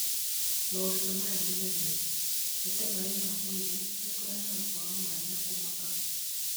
Maũritũ maya manene, gũtee maĩ ma mwĩrĩ nĩ kũrehage kwaga maĩ na kũmaka.